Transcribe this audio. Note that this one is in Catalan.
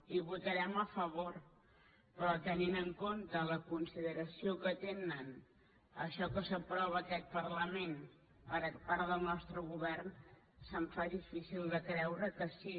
hi votarem a favor però tenint en compte la consideració que té a allò que s’aprova a aquest parlament el nostre govern se’m fa difícil de creure que sí